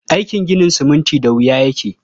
Aikin ginin siminti da wuya yake.